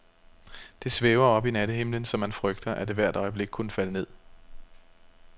Det svæver oppe i nattehimlen, så man frygter, at det hvert øjeblik kunne falde ned.